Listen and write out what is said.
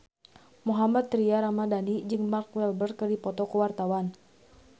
Mohammad Tria Ramadhani jeung Mark Walberg keur dipoto ku wartawan